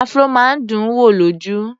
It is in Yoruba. Afro máa ń dùn wò lójú.